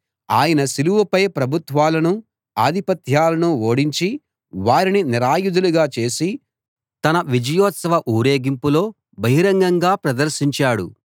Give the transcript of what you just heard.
ఆయన సిలువపై ప్రభుత్వాలనూ ఆధిపత్యాలనూ ఓడించి వారిని నిరాయుధులుగా చేసి తన విజయోత్సవ ఊరేగింపులో బహిరంగంగా ప్రదర్శించాడు